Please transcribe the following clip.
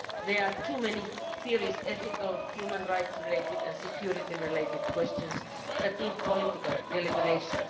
There are too many serious ethical human rights related and security related questions involved that necessitate political deliberation.